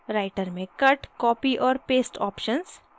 writer में cut copy और paste options